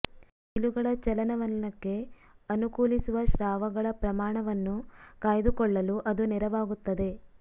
ಕೀಲುಗಳ ಚಲನವಲನಕ್ಕೆ ಅನುಕೂಲಿಸುವ ಸ್ರಾವಗಳ ಪ್ರಮಾಣವನ್ನು ಕಾಯ್ದು ಕೊಳ್ಳಲೂ ಅದು ನೆರವಾಗುತ್ತದೆ